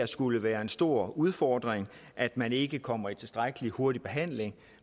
skulle være en stor udfordring at man ikke kommer i tilstrækkelig hurtig behandling